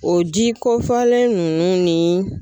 O ji kɔfɔlen ninnu ni